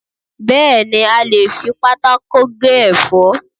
Bẹ́ẹ̀ni, a lè fi pátákó gé ẹ̀fọ́